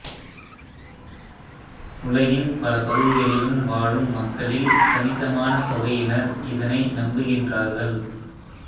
உலகின் பல பகுதிகளிலும் வாழும் மக்களில் கணிசமான தொகையினர் இதனை நம்புகின்றார்கள்